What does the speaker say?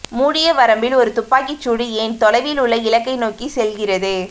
மூடிய வரம்பில் ஒரு துப்பாக்கி சூடு ஏன் தொலைவில் உள்ள இலக்கை நோக்கி செல்கிறது